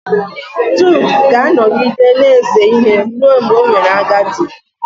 Jud ga-anọgide na-ese ihe ruo mgbe o mere agadi